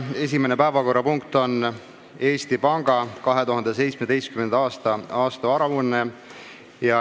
Esimene päevakorrapunkt on Eesti panga 2017. aasta aastaaruanne.